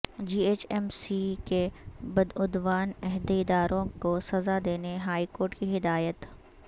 جی H M C کے بدعنوان عہدیداروں کو سزا دینے ہائیکورٹ کی ہدایت